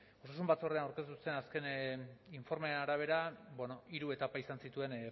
osasun batzordean aurkeztu zuten azken informearen arabera hiru etapa izan zituen